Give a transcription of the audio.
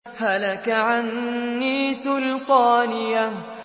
هَلَكَ عَنِّي سُلْطَانِيَهْ